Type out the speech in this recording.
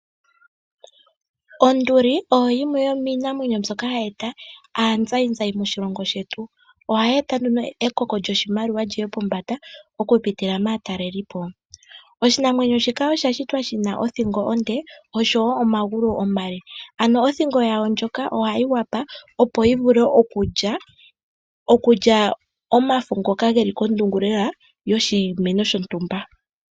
Onduli oyo yimwe yomiinamwenyo mbyoka hayi e ta aazayizayi maatalelipo. Ohayi eta nduno ekoko lyoshimaliwa li ye pombanda okupitila maatalelipo. Oshinamwenyo shika osha shitwa shi na othingo onde oshowo omagulu omale. Othingo yawo ndjoka ohayi kwatha, opo yi wape okulya omafo ngoka ge li kondungu lela yoshimeno shontumba.